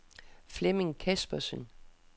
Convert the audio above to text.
Flemming Kaspersen